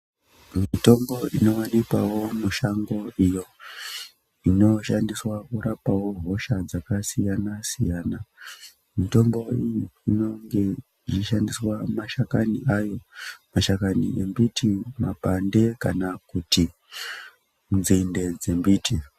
Mitombo inowanikwawo mushango iyo inoshandiswa kurapawo hosha dzakasiyana siyana mitombo iyi inenge ichishandiswa mashakani ayo mashakani embiti mapande kana kuti nzinde dzembiti.